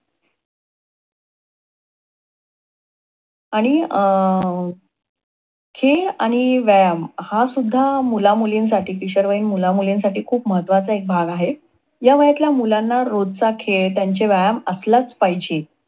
आणि अं खेळ आणि व्यायाम हा सुद्धा मुलामुलींसाठी किशोरवयीन मुलामुलींसाठी खूप महत्वाचा एक भाग आहे. ह्या वयातल्या मुलांना रोजचा खेळ त्यांचा व्यायाम असलाच पाहिजे.